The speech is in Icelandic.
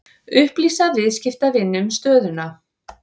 Upplýsa viðskiptavini um stöðuna